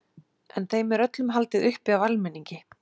En þeim er öllum haldið uppi af almenningi.